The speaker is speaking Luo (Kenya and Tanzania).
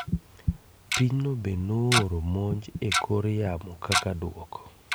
Pinyno be nooro monj e kor yamo kaka duoko